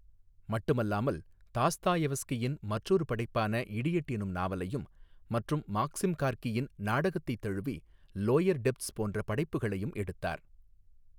மட்டுமல்லாமல் தஸ்தாயெவெஸ்கியின் மற்றொரு படைப்பான இடியட் எனும் நாவலையும் மற்றும் மாக்ஸிம் கார்க்கியின் நாடகத்தை தழுவி லோயர் டெப்த்ஸ் போன்ற படைப்புகளையும் எடுத்தார்.